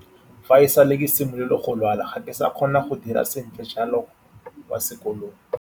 Fa e sale ke simolola go lwala, ga ke sa kgona go dira sentle jalo kwa sekolong.